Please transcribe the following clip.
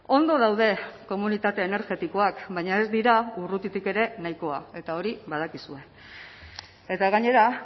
ondo daude komunitate energetikoak baina ez dira urrutitik ere nahikoa eta hori badakizue eta gainera